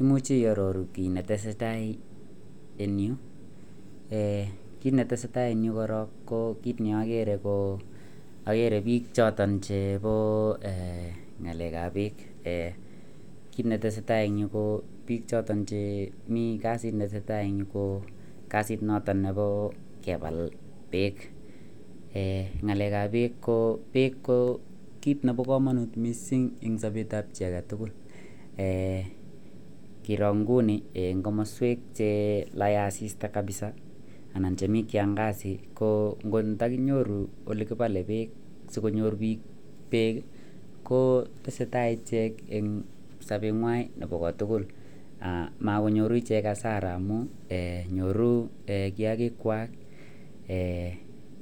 Imuche iyaroru kit netesetai en ireyu kit netesetai en Yu Koron ko kit neagere ko agere bik choton Chebo ngalek ab bek kit netesetai en Yu ko bik chotochemi kasit netesetai en Yu Nebo kebal bek ngalek ab bek ko bek ko kit Nebo kamanut mising en Sabet ab chi agetugul keron inguninen kamaswek oleya asista kabisa anan chemi kiangazi kontakinyorubolrkibale konyor bik bek ko tesetai ichek en sabengwai Koba tugul makinyoru ichek Asara nyorunnkiaknkwak